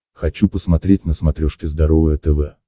хочу посмотреть на смотрешке здоровое тв